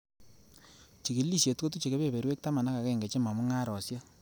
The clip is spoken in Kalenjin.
Chigilisiet kotuche kebeberwek taman ak agenge chemo mungarosiek.